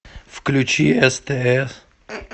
включи стс